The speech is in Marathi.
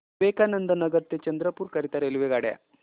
विवेकानंद नगर ते चंद्रपूर करीता रेल्वेगाड्या